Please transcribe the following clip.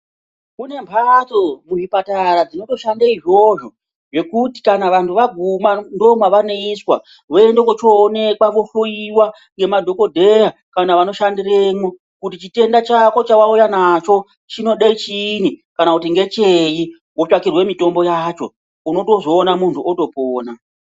Kune mbatso kuchipatara dzinotoshande izvozvo ngekuti kana vanhu vaguma ndimwo mwevanoiswa ,voende kuchioonekwa vohloyiwa nemadhokodheya kana vanoshandiremwo kuti chitenda chako chawauya nacho chinode chiinyi kana kuti ngecheyi wotsvakirwe mitombo yacho unotozoona muntu otopona.